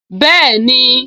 Bẹ́ẹ̀ni